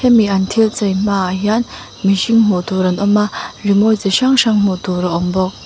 mi an thil chei hma ah hian mihring hmuh tur an awm a rimawi chi hrang hrang hmuh tur a awm bawk.